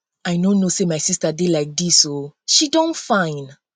i no know say my sister dey like dis oo she don fine